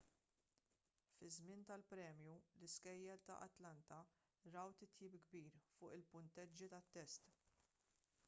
fiż-żmien tal-premju l-iskejjel ta' atlanta raw titjib kbir fuq il-punteġġi tat-test